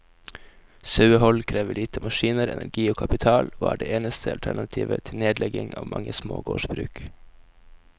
Sauehold krever lite maskiner, energi og kapital, og er det eneste alternativet til nedlegging av mange små gårdsbruk.